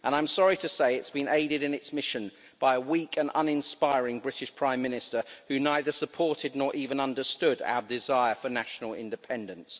And I'm sorry to say it's been aided in its mission by a weak and uninspiring British Prime Minister who neither supported nor even understood our desire for national independence.